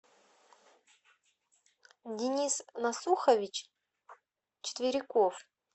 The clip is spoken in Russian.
денис насухович четверяков